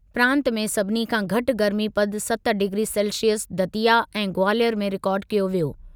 प्रांतु में सभिनी खां घटि गर्मीपदु सत डिग्री सेल्सिअस दतिया ऐं ग्वालियर में रिकार्ड कयो वियो।